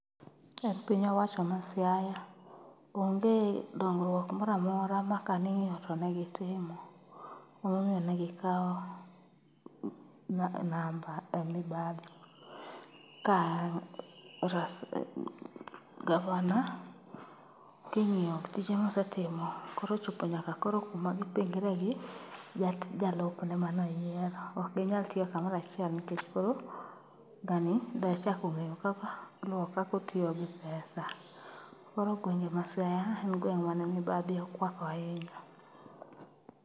Piny owacho ma Siaya onge dongruok moramora ma ka ning'iyo to ne gitimo, emomiyo ne gikawo namba e mibadhi. Ka gavana king'iyo tije mosetimo korochopo nyaka kuma gipingre gi jalupne manoyiero. Ok ginyal tiyo kamorachiel nikech koro ng'ani ber kakong'eyo kaka luwo kakotiyi gi pesa. Koro pinje ma Siaya en gweng' mane mibadhi okwako ahinya.